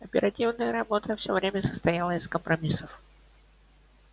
оперативная работа все время состояла из компромиссов